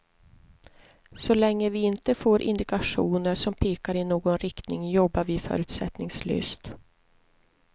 Så länge vi inte får indikationer som pekar i någon riktning jobbar vi förutsättningslöst.